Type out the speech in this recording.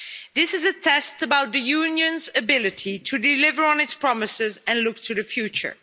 This is a test about the Union's ability to deliver on its promises and look to the future.